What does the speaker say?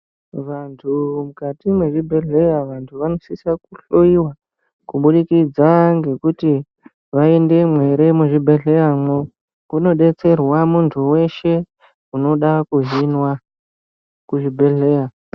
Vantu mukati mezvibhedheya vantu vanosisa kuhloyiwa kubudikidza ngekuti vaendemwo ere muzvibhehleya. Kunodetserwa muntu weshe unoda kuhinwa kuzvibhedheya.